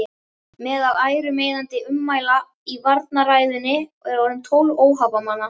Meðal ærumeiðandi ummæla í varnarræðunni voru orðin tólf óhappamanna.